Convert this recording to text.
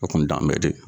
O kun t'an bɛɛ de ye